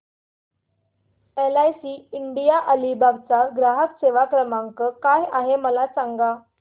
LIC India Alibag चा ग्राहक सेवा क्रमांक काय आहे मला सांगा